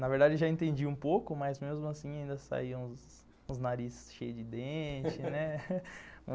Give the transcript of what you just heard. Na verdade, já entendi um pouco, mas mesmo assim ainda saiam os os nariz cheio de dente, né?